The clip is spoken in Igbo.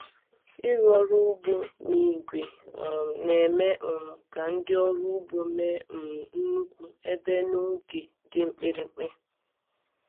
Ịrụ ọrụ ugbo na igwe um na-eme um ka ndị ọrụ ugbo mee um nnukwu ebe n’oge dị mkpirikpi.